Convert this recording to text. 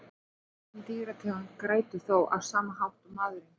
Engin dýrategund grætur þó á sama hátt og maðurinn.